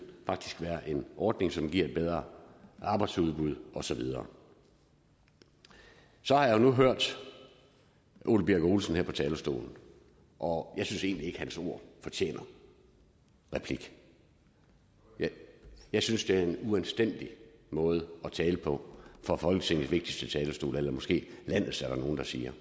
være en ordning som giver et bedre arbejdsudbud og så videre jeg har nu hørt ole birk olesen her på talerstolen og jeg synes egentlig ikke at hans ord fortjener replik jeg synes det er en uanstændig måde at tale på fra folketingets vigtigste talerstol eller måske landets er der nogle der siger